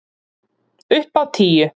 Upp á tíu!